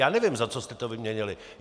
Já nevím, za co jste to vyměnili.